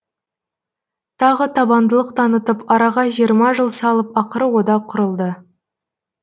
тағы табандылық танытып араға жиырма жыл салып ақыры одақ құрылды